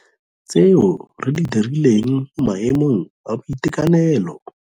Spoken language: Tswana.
Tseo re di dirileng mo maemong a boitekanelo.